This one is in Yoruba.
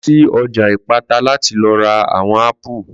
Lọ sí ọjà Ìpátá láti lọ ra àwon ápù